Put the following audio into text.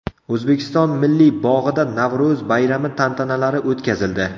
O‘zbekiston Milliy bog‘ida Navro‘z bayrami tantanalari o‘tkazildi .